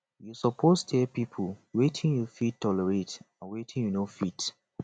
you suppose dey tell pipo wetin you fit tolerate and wetin you no fit